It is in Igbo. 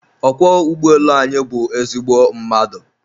ọkwọ ụgbọelu anyị bụ ezigbo mmadụ